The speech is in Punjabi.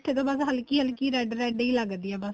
ਤੇ ਬੱਸ ਹੱਲਕੀ ਹੱਲਕੀ red red ਏ ਲੱਗਦੀ ਏ ਬੱਸ